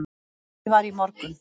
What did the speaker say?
Dregið var í morgun